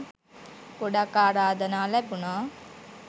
ගොඩක් ආරාධනා ලැබුණා